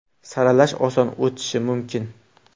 Saralash oson o‘tishi mumkin.